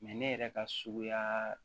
ne yɛrɛ ka suguyaa